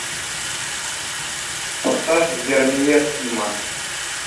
поставь вермеер тима